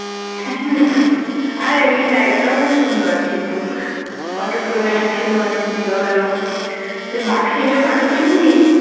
আর এমনি জায়গাটাও খুব সুন্দর কিন্তু photo তোলা যাচ্ছিলো অনেক ভালো ভালো তুই বাঘ সিংহের photo তুললি